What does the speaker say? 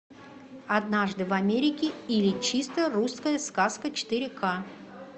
однажды в америке или чисто русская сказка четыре ка